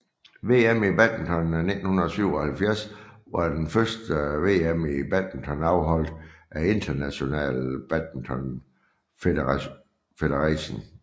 VM i badminton 1977 var det første VM i badminton afholdt af International Badminton Federation